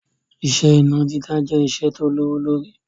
Iṣẹ́ iná dídá jẹ́ iṣẹ́ tí ó lówó lórí